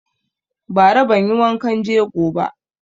Ba ra banyi wankan jego ba